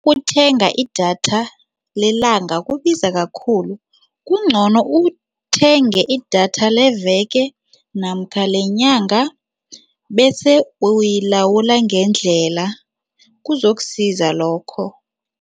Ukuthenga idatha lelanga kubiza kakhulu. Kungcono uthenge idatha leveke namkha lenyanga bese uyilawula ngendlela, kuzokusiza lokho.